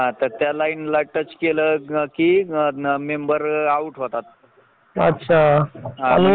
तेव्हा आपल्याला सर्टिफिकेट भेटत तुम्हाला नोकरीच्या आलंय म्हणून